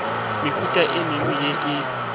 mehuta e mengwe ye e